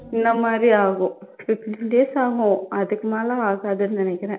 இந்த மாதிரி ஆகும் fifteen days ஆகும் அதுக்கு மேல ஆகாதுன்னு நினைக்கிறேன்